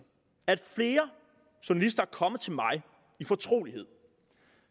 at flere journalister er kommet til mig i fortrolighed